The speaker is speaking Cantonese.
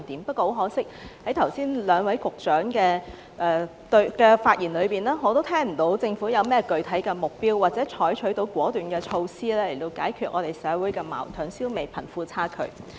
不過，很可惜，在剛才兩位局長的發言中，我都聽不到政府有何具體目標或採取甚麼果斷措施解決社會矛盾，消弭貧富差距。